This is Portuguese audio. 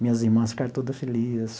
Minhas irmãs ficaram todas felizes.